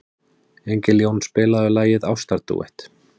Engiljón, spilaðu lagið „Ástardúett“.